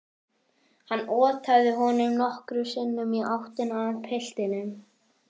Hann otaði honum nokkrum sinnum í áttina að piltinum.